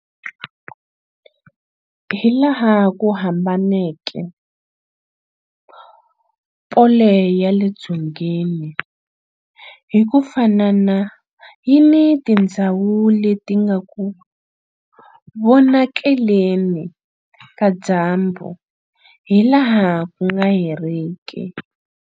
Hilaha ku hambaneke, pole ya le dzongeni hi ku fanana yi ni tindhawu leti nga eku vonakaleni ka dyambu hilaha ku nga heriki.